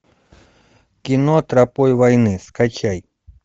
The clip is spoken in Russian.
кино тропой войны скачай